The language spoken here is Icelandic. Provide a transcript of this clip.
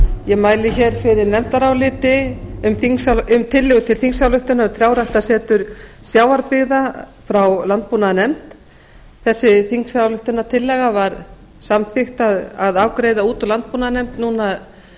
ég mæli hér fyrir nefndaráliti um tillögu til þingsályktunar um trjáræktarsetur sjávarbyggða frá landbúnaðarnefnd þessa þingsályktunartillögu var samþykkt að afgreiða út úr landbúnaðarnefnd núna